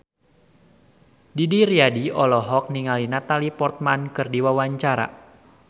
Didi Riyadi olohok ningali Natalie Portman keur diwawancara